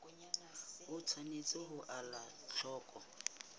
o tshwanetse ho ela hloko